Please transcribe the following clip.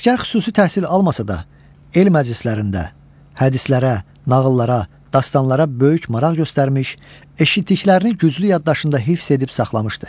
Ələsgər xüsusi təhsil almasa da, el məclislərində, hədislərə, nağıllara, dastanlara böyük maraq göstərmiş, eşitdiklərini güclü yaddaşında hifz edib saxlamışdı.